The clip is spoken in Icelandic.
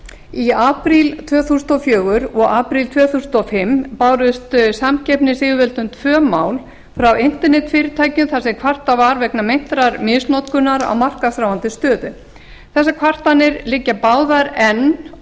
í apríl tvö þúsund og fjögur og apríl tvö þúsund og fimm bárust samkeppnisyfirvöldum tvö mál frá internetfyrirtækjum þar sem kvartað var vegna meintrar misnotkunar á markaðsráðandi stöðu þessar kvartanir liggja báðar enn